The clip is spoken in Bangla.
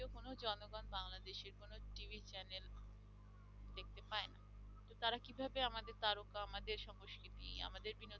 আমাদের সংস্কৃতি আমাদের বিনোদন